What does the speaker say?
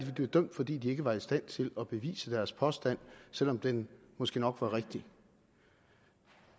er blevet dømt fordi de ikke var i stand til at bevise deres påstand selv om den måske nok var rigtig